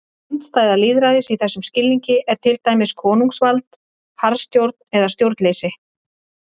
Andstæða lýðræðis í þessum skilningi er til dæmis konungsvald, harðstjórn eða stjórnleysi.